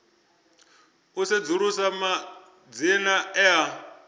u sedzulusa madzina e a